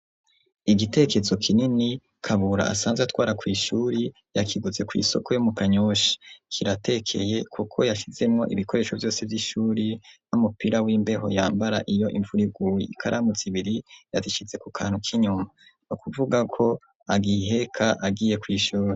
igitekezo kinini kabura asanze atwara kw'ishuri yakiguze kw'isoko yo mu kanyoshi kiratekeye kuko yashyizemwo ibikoresho vyose vy'ishuri n'umupira w'imbeho yambara iyo imvura iguye ikaramu zibiri yazishize ku kantu k'inyuma nukuvuga ko agiheka agiye kw'ishuri.